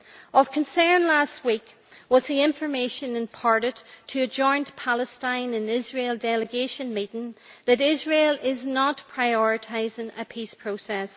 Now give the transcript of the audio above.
Of concern last week was the information imparted to a joint Palestine and Israel delegation meeting that Israel is not prioritising a peace process.